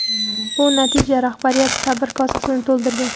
Bu natija rahbariyat sabr kosasini to‘ldirgan.